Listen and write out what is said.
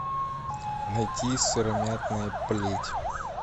найти сыромятная плеть